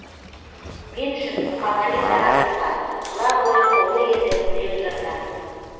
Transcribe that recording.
мен үшін мұқағали дара тұлға тұла бойы толы еді өлең жырға